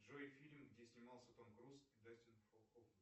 джой фильм где снимался том круз и дастин хоффман